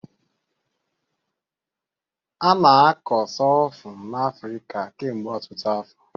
A na-akọ Sorghum n'Afrịka kemgbe ọtụtụ afọ.